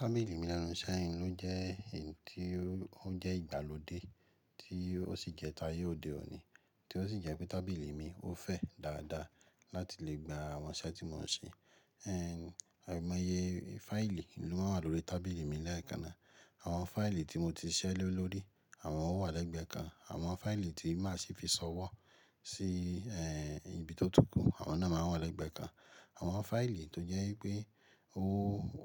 Tábìlì mi lẹ́nu iṣẹ́ inú jẹ́ èyí tí ó jẹ́ ìgbàlódé tí ó sì jẹ́ tayé òde òní, tí ó sì jẹ́ pé tábìlì mi ó fẹ́ dáadáa láti lè gba àwọn iṣẹ́ tí mò ń ṣe. Ẹ̀. Àìmọye fáìlì ló máa ń wà lórí tábìlì mi lẹ́ẹ̀kan ná. Àwọn fáìlì tí mo ti ṣẹ́ lórí, àwọn wọ́n wà lẹ́gbẹ̀ẹ́ kan. Àwọn fáìlì tí má sì fi ṣọwọ́ sí, ẹ́ẹ̀, ibi tó tùkù, àwọn náà máa ń wà lẹ́gbẹ̀ẹ́ kan. Àwọn fáìlì tó jẹ́ wípé ó,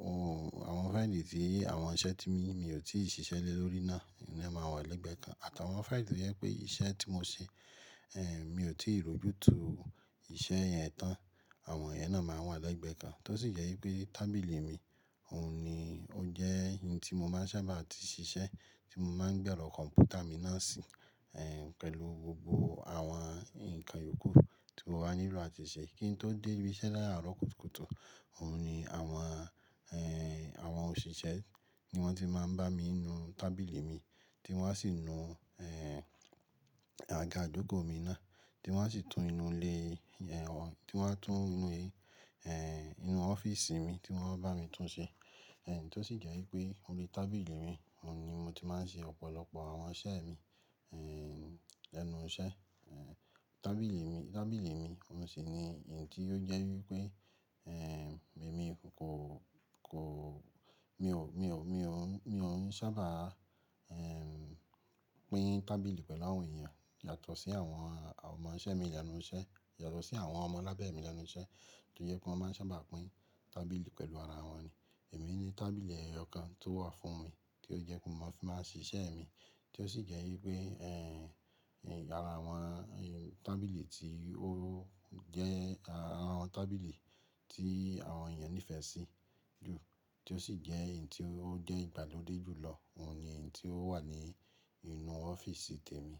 òún, àwọn fáìlì tí àwọn iṣẹ́ tí mi, mi ò tíì ṣiṣẹ́ lórí náà, ìná máa wà lẹ́gbẹ̀ẹ́ kan. Àtàwọn fáìlì tó jẹ́ pé iṣẹ́ tí mò ń ṣe, ẹ́, mi ò tí ì ròju tu iṣẹ́ yẹn tán, àwọn yẹn náà máa wà lẹ́gbẹ̀ẹ́ kan. Tó sì jẹ́ wípé tábìlì mi òun ni ó jẹ́ ẹyin tí mo máa ń sábà ti ṣiṣẹ́, tí mo máa ń gbẹ́ lọ kọ̀ǹpútà mi náà sí, ẹ́, pẹ̀lú gbogbo àwọn ǹkan ìyókù tí mo bá nílò àti ṣe. Kí n tó dé ibi iṣẹ́ láàárọ̀ kùtùkùtù, òun ni àwọn, ẹ́, àwọn òṣìṣẹ́ ni wọ́n ti máa ń bá mi nu tábìlì mi, tí wọ́n á sì nu, ẹ́, àga ijoko mi náà, tí wọ́n á sì tún inú ilé, ẹ́, wọ́n tí wọ́n á tún inú, ẹ́, inú ọ́fíìsì mi tí wọ́n bá mi tún ṣe. Ẹ̀ tó sì jẹ́ wípé orí tábìlì mi, òun ni mo ti máa ń ṣe ọ̀pọ̀lọpọ̀ àwọn iṣẹ́ mi, ẹ́, lẹ́nu iṣẹ́. Ẹ̀ tábìlì mi, tábìlì mi, òun sì ni ẹyin tí ó jẹ́ wípé, ẹ́, èmi kò, kò, mi ò, mi ò, mi ò, mi ò ń sábà, ẹ́, pín tábìlì pẹ̀lú àwọn èèyàn yàtọ̀ sí àwọn àwọn ọmọ iṣẹ́ mi ìlẹ́nu iṣẹ́, yàtọ̀ sí àwọn ọmọ labe mi lẹ́nu iṣẹ́ tó jẹ́ pé wọ́n máa ń sábà pín tábìlì pẹ̀lú ara wọn ni. Èmi ni tábìlì eyoọ̀kan tó wà fún mi tí ó jẹ́ pé mò fi máa ń ṣe iṣẹ́ mi, tí ó sì jẹ́ wípé, ẹ́, ara àwọn tábìlì tí ó jẹ́ àwọn tábìlì tí àwọn èèyàn nífẹ̀ẹ́ sí jù tí ó sì jẹ́ ẹyin tí ó jẹ́ ìgbàlódé jù lọ, òun ni ẹyin tí ó wà ní inú ọ́fíìsì tèmi.